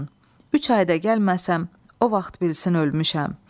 Üç ayda gəlməsəm, o vaxt bilsin ölmüşəm.